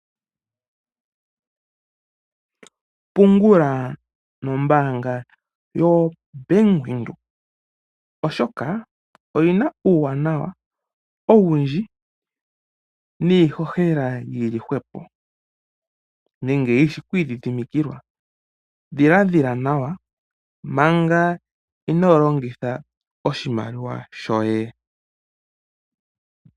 Pungula nombanga yo Bank Windhoek, oshoka oyina uuwanawa owundji niihohela yili hwepo nenge yishi okwiidhidhimikilwa dhila dhiladhila nawa manga inoolongitha oshimaliwa shoye.